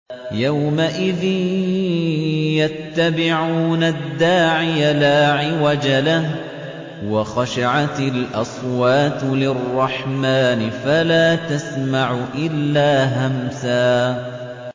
يَوْمَئِذٍ يَتَّبِعُونَ الدَّاعِيَ لَا عِوَجَ لَهُ ۖ وَخَشَعَتِ الْأَصْوَاتُ لِلرَّحْمَٰنِ فَلَا تَسْمَعُ إِلَّا هَمْسًا